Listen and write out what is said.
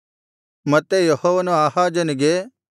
ಮತ್ತೆ ಯೆಹೋವನು ಆಹಾಜನಿಗೆ